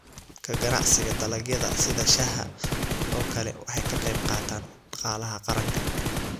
Ka ganacsiga dalagyada sida shaaha oo kale waxay ka qayb qaataan dhaqaalaha qaranka.